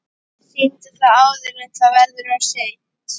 Sýndu það áður en það verður of seint.